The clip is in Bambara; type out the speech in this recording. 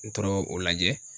N toro o lajɛ .